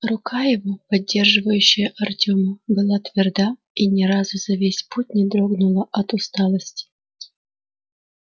рука его поддерживающая артема была тверда и ни разу за весь путь не дрогнула от усталости